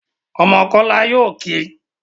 Ọmọ kola yóò kí